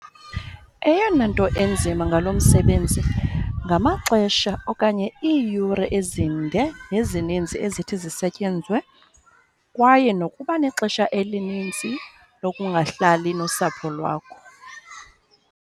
Eyona nto inzima ngalo msebenzi ngamaxesha okanye iiyure ezinde nezininzi ezithi zisetyenzwe kwaye nokuba nexesha elininzi lokungahlali nosapho lwakho.